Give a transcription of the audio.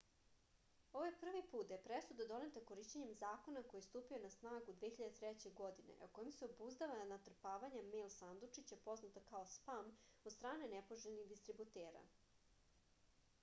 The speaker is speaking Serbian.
ovo je prvi put da je presuda doneta korišćenjem zakona koji je stupio na snagu 2003. godine a kojim se obuzdava natrpavanje mejl sandučića poznato kao spam od strane nepoželjnih distributera